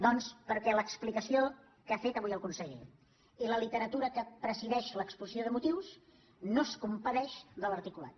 doncs perquè l’explicació que ha fet avui el conseller i la literatura que presideix l’exposició de motius no es compadeixen de l’articulat